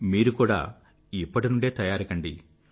మీరు కూడా ఇప్పటి నుండే తయారు కండి